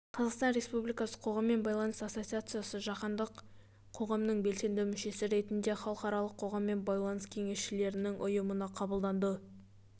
қазақстан республикасы қоғаммен байланыс ассоциациясы жаһандық қоғамның белсенді мүшесі ретінде халықаралық қоғаммен байланыс кеңесшілерінің ұйымына қабылданды